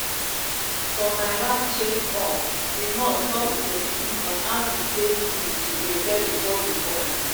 for my last check updi nurse talk plenti on how e e take good to prepare before you born.